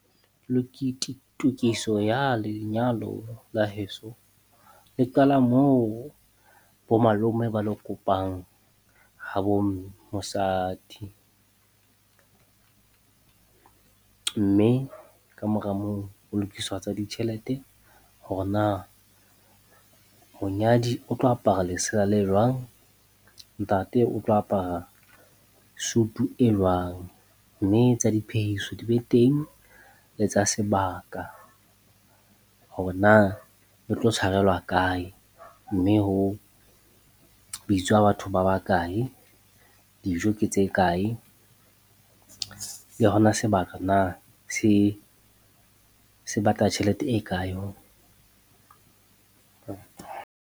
Lukiti, tokiso ya lenyalo la heso, le qala moo bo malome ba lo kopang habo mosadi. Mme ka mora moo, ho lokiswa tsa ditjhelete hore na monyadi o tlo apara lesela le jwang, ntate o tlo apara suit-u e jwang? Mme tsa diphehiso di be teng, le tsa sebaka hore na le tlo tshwarelwa kae, mme ho bitswa batho ba bakae, dijo ke tse kae, le ho na sebaka na se se batla tjhelete e kae?